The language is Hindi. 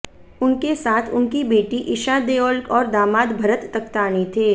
उनके साथ उनकी बेटी ईशा देओल और दामाद भरत तख्तानी थे